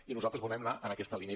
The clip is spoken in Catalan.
i nosaltres volem anar en aquesta línia